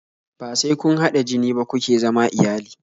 Bai sai kun hada jini ba kuke zama iyali